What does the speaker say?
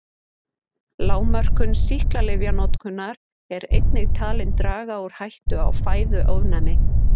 Lágmörkun sýklalyfjanotkunar er einnig talin draga úr hættu á fæðuofnæmi.